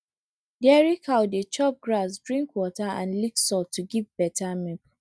dairy cow dey chop grass drink water and lick salt to give better milk